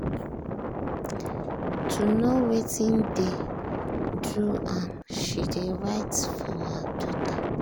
to know wetin dey do am she dey write for her jotter.